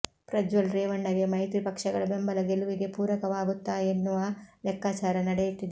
ಪ್ರಜ್ವಲ್ ರೇವಣ್ಣಗೆ ಮೈತ್ರಿ ಪಕ್ಷಗಳ ಬೆಂಬಲ ಗೆಲುವಿಗೆ ಪೂರಕವಾಗುತ್ತಾ ಎನ್ನುವ ಲೆಕ್ಕಾಚಾರ ನಡೆಯುತ್ತಿದೆ